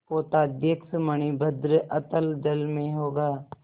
पोताध्यक्ष मणिभद्र अतल जल में होगा